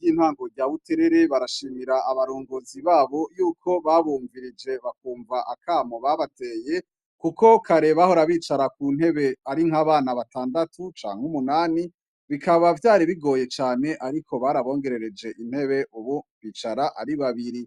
bintango rya buterere barashimira abarongozi babo yuko babongereje bakumva akamaro kabo babateye kuko kare bahora bicara kuntebe arinkabana batandatu canke nkumunani bikaba vyari bigoye cane ariko ubu bakaba bicara ari babiri